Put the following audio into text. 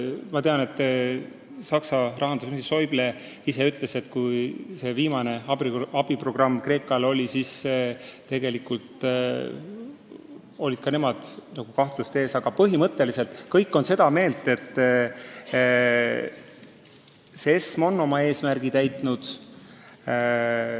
Ma tean, et Saksa rahandusminister Schäuble ise ütles, kui viimane abiprogramm Kreekale jutuks oli, et ka nemad kahtlesid, aga nüüd on põhimõtteliselt kõik seda meelt, et ESM on oma eesmärgi täitnud.